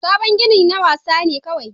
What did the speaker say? Sabon ginin na wasa ne kawai